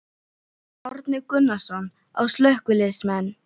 Árni Gunnarsson: Á slökkviliðsmenn?